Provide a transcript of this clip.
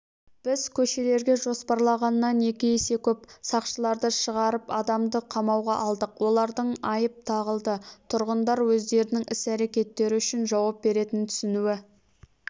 біз көшелерге жоспарланғаннан екі есе көп сақшыларды шығарып адамды қамауға алдық олардың айып тағылды тұрғындар өздерінің іс-әрекеттері үшін жауап беретінін түсінуі